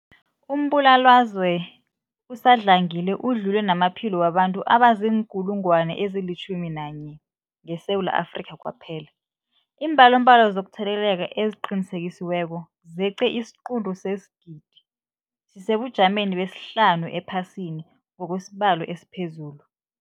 Umbulalazwe usadlangile udlule namaphilo wabantu abaziinkulungwana ezi-11 ngeSewula Afrika kwaphela. Iimbalobalo zokutheleleka eziqinisekisiweko zeqe isiquntu sesigidi, sisesebujameni besihlanu ephasini ngokwesibalo esiphezulu.